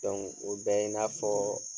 o bɛɛ ye i n'a fɔɔ